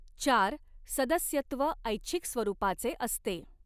चार सदस्यत्व ऐच्छिक स्वरूपाचे असते